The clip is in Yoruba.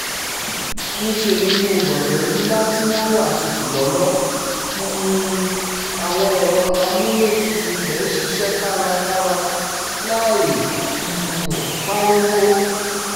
ṣùgbọ́n níṣẹ́ ni inú gbọ̀ngàn ńlá tí wọ́n wá tutù lọ́lọ́ um àwọn ẹ̀rọ amúlétutù ibẹ̀ ń ṣiṣẹ́ kárakára láì um pariwo